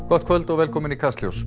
gott kvöld og velkomin í Kastljós